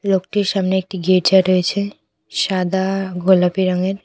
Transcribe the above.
লোকটির সামনে একটি গির্জা রয়েছে সাদা গোলাপি রঙের।